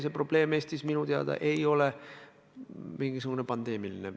See probleem ei ole Eestis minu teada pandeemiline.